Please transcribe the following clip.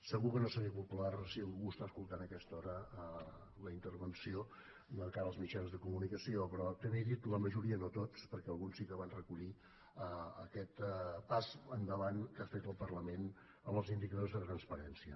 segur que no seré popular si algú està escoltant a aquesta hora la intervenció de cara als mitjans de comunicació però també he dit la majoria no tots perquè alguns sí que van recollir aquest pas endavant que ha fet el parlament amb els indicadors de transparència